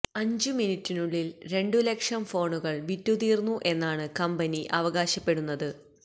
അഞ്ചു മിനിറ്റിനുള്ളിൽ രണ്ടു ലക്ഷം ഫോണുകൾ വിറ്റുതീർന്നു എന്നാണ് കമ്പനി അവകാശപ്പെടുന്നത്